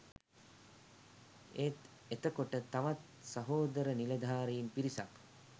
ඒත් එතකොට තවත් සහෝදර නිලධාරීන් පිරිසක්